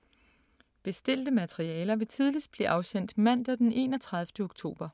Bestilte materialer vil tidligst blive afsendt mandag den 31. oktober.